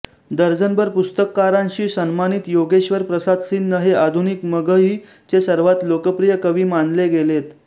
दर्जनभर पुरस्कारांशी सन्मानित योगेश्वर प्रसाद सिन्ह हे आधुनिक मगही चे सर्वात लोकप्रिय कवि मानले गेलेत